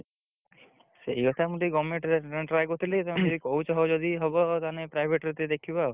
ସେଇ କଥା ମୁଁ ଟିକେ government ରେ try କରୁଥିଲି ତମେ ଯଦି କହୁଛ ହଉ ଯଦି ହବ ତାହେନେ private ରେ ଟିକେ ଦେଖିବା ଆଉ।